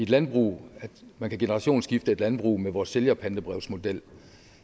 landbrug så man kan generationsskifte et landbrug med vores sælgerpantebrevsmodel